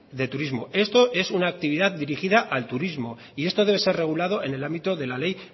de turismo esto es una actividad dirigida al turismo y esto debe ser regulado en el ámbito de ley